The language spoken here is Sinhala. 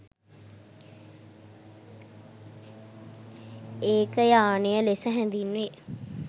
ඒකයානය ලෙස හැඳින්වේ.